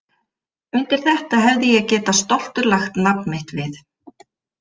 Undir þetta hefði ég getað stoltur lagt nafn mitt við.